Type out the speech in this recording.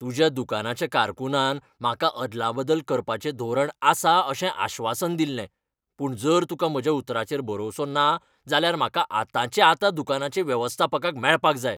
तुज्या दुकानाच्या कारकुनान म्हाका अदलाबदल करपाचें धोरण आसा अशें आश्वासन दिल्लें, पूण जर तुका म्हज्या उतराचेर भरवंसो ना जाल्यार म्हाका आतांचे आतां दुकानाचे वेवस्थापकाक मेळपाक जाय.